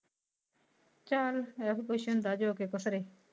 ਚਾਲ ਅਏਹੋ ਕੁਛ ਹੁੰਦਾ ਜੋ ਕੇ ਖੁਸਰੇ।